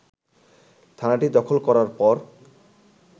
থানাটি দখল করার পর